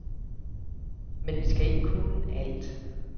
Men vi skal ikke kunne alt.